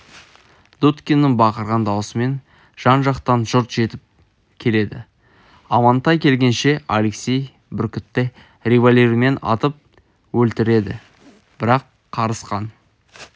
дудкиннің бақырған дауысымен жан-жақтан жұрт жетіп келеді амантай келгенше алексей бүркітті револьвермен атып өлтіреді бірақ қарысқан